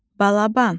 Balaban